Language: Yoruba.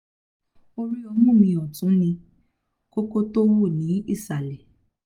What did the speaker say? orí ọmú mi ọ̀tún ní um kókó tó wú ní ìsàlẹ̀